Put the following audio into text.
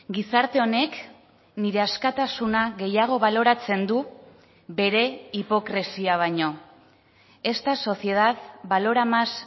gizarte honek nire askatasuna gehiago baloratzen du bere hipokresia baino esta sociedad valora más